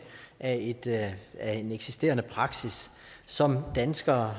af af en eksisterende praksis som danskere